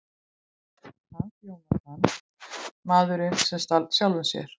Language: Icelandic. Hans Jónatan: Maðurinn sem stal sjálfum sér.